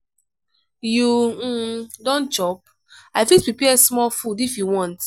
you um don chop? i fit prepare small food if you want.